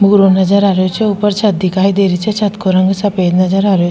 भूरो नजर आ रेहो छे ऊपर छत दिखाई दे री छे छत को रंग सफ़ेद नज़र आ रेहो --